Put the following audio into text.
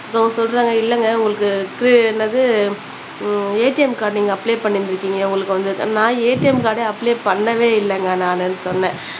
அவங்க சொல்றாங்க இல்லங்க உங்களுக்கு இது என்னது உம் ஏடிஎம் கார்டு நீங்க அப்ளை பண்ணிருந்துருக்கிங்க உங்களுக்கு வந்துருக்கு நான் ஏடிஎம் கார்டு அப்ளை பண்ணவே இல்லங்க நானு சொன்னேன்